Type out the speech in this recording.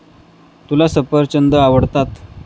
तुला सफरचंद आवडतात.